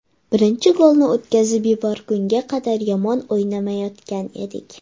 Birinchi golni o‘tkazib yuborgunga qadar yomon o‘ynamayotgan edik.